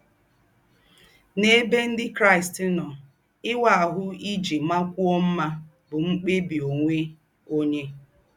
N’êbè Ndí́ Kráịst nọ̀, íwạ́ áhụ́ íjì màkwụ́ọ̀ mmá bụ́ mkpèbị̀ ónwẹ̀ ǒnyẹ́.